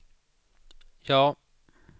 ja